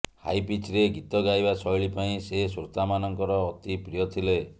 high ପିଚ୍ରେ ଗୀତ ଗାଇବା ଶୈଳୀ ପାଇଁ ସେ ଶ୍ରୋତାମାନଙ୍କର ଅତି ପ୍ରିୟ ଥିଲେ